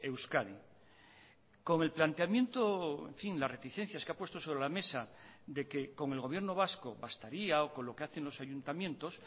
euskadi con el planteamiento en fin las reticencias que ha puesto sobre la mesa de que con el gobierno vasco bastaría o con lo que hacen los ayuntamientos